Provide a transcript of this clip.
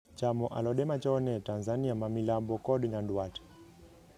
chamo alode machone tanzania ma milambo kod nyanduat